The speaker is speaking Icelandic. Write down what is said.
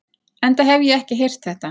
Enda hef ég ekki heyrt þetta.